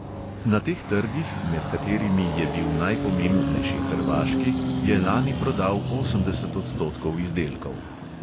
Na teh trgih, med katerimi je bil najpomembnejši hrvaški, je lani prodal osemdeset odstotkov izdelkov.